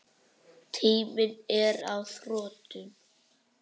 Tíminn er á þrotum.